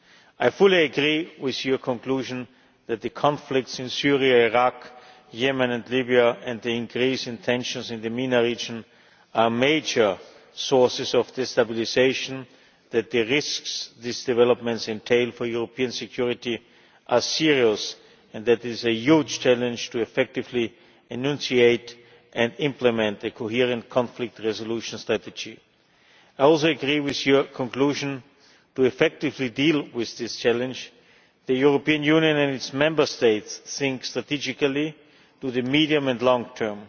I fully agree with your conclusion that the conflicts in Syria, Iraq, Yemen and Libya and the increase in tensions in the MENA region are major sources of destabilisation, that the risks these developments entail for European security are serious, and that it is a huge challenge to effectively enunciate and implement a coherent conflict resolution strategy. I also agree with your conclusion to effectively deal with this challenge, the European Union and its Member States must think strategically in the medium and long term.